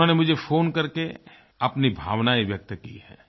उन्होंने मुझे फ़ोन कर के अपनी भावनाएं व्यक्त की हैं